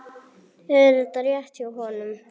Er þetta rétt hjá honum?